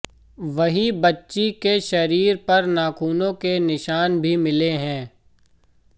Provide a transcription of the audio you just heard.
वहीं बच्ची के शरीर पर नाखूनों के निशान भी मिले हैं